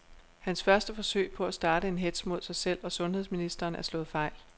Hans første forsøg på at starte en hetz mod sig selv og sundheds ministeren er slået fejl.